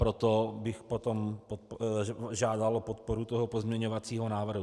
Proto bych potom žádal o podporu toho pozměňovacího návrhu.